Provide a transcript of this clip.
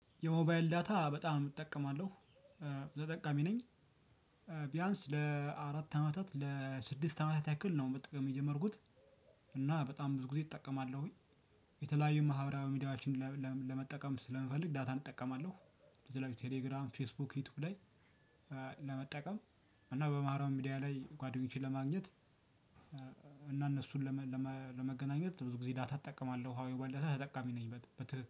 የሞባይል ዳታ በጣም እጠቀማለሁ ተጠቃሚ ነኝ። ቢያንስ ለአራት አመታት ለስድስት አመታት ያክል ነው መጠቀም የጀመርኩት። እና በጣም ብዙ ጊዜ እጠቀማለሁኝ። የተለያዩ ማህበራዊ ሚዲያዎችን ለመጠቀም ስለሚፈልግ ዳታን እጠቀማለሁ። የተለያዩ ቴለግራም፣ ፈስቡክ ይውቱብ ለመጠቀም እና በማህበራዊ ሚዲያ ላይ ጓደኞቼን ለማግኘት እና እነሱን ለመገናኘት ብዙ ጊዜ ዳታ እጠቀማለሁ። ያው ባለፈ ተጠቃሚ ነኝ።